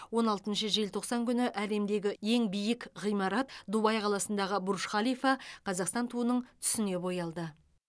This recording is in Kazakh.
он алтыншы желтоқсан күні әлемдегі ең биік ғимарат дубай қаласындағы бурж халифа қазақстан туының түсіне боялды